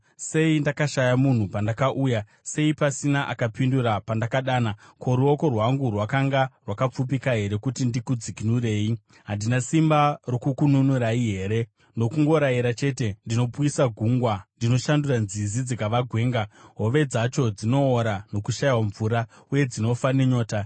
Sei ndakashaya munhu, pandakauya? Sei pasina akapindura pandakadana? Ko, ruoko rwangu rwakanga rwakapfupika here kuti ndikudzikinurei? Handina simba rokukununurai here? Nokungorayira chete ndinopwisa gungwa; ndinoshandura nzizi dzikava gwenga; hove dzadzo dzinoora nokushayiwa mvura, uye dzinofa nenyota.